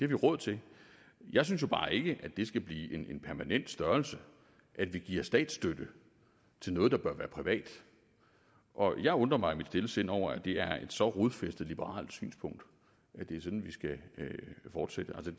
vi råd til jeg synes jo bare ikke at det skal blive en permanent størrelse at give statsstøtte til noget der bør være privat og jeg undrer mig i mit stille sind over at det er et så rodfæstet liberalt synspunkt at det er sådan vi skal fortsætte